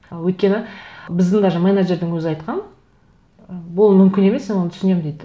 өйткені біздің даже менеджердің өзі айтқан бұл мүмкін емес оны түсінемін дейді